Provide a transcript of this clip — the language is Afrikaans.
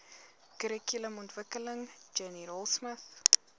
kurrikulumontwikkeling jenny raultsmith